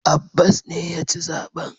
Abbas ne ya ci zaben.